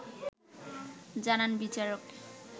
জানান বিচারক